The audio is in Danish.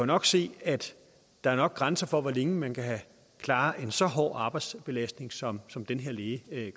nok se at der er grænser for hvor længe man kan klare en så hård arbejdsbelastning som som den her læge